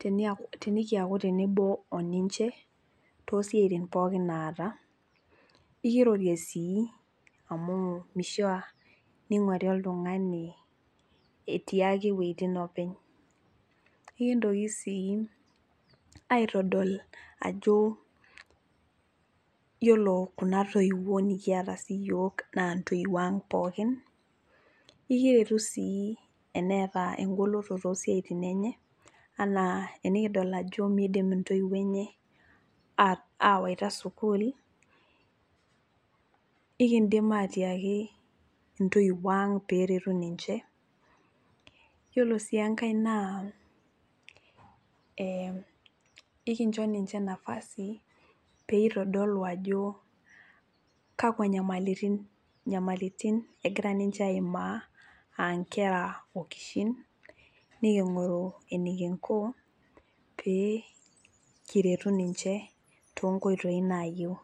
teniaku tenikiaku tenebo oninche tosiaitin pookin naata ikirorie sii amu mishia ning'uari oltung'ani etii ake iwuejitin openy ikintoki sii aitodol ajo yiolo kuna toiwuo nikiata siiyiok naa intoiwuo ang pookin ikiretu sii eneeta engoloto tosiaitin enye anaa enikidol ajo miidim intoiwuo enye uh awaita sukuul ikindim atiaki intoiwuo ang peretu ninche yiolo sii enkae naa eh ikincho ninche nafasi peitodolu ajo kakwa nyamalitin nyamalitin egira ninche aimaa aa inkera okishin niking'oru enikinko pee kiretu ninche tonkoitoi nayieu.